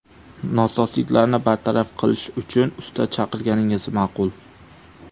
Nosozliklarni bartaraf qilish uchun usta chaqirganingiz ma’qul.